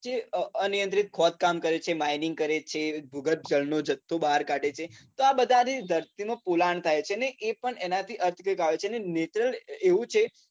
જે અનિયંત્રિત ખોદકામ કરે છે, mining કરે છે, ભૂગર્ભ જળ નું જથ્થું બહાર કાઢે છે તો આ બધાંથી ધરતીનું પોલાણ થાય છે એ પણ એનાથી ને natural એવું છે.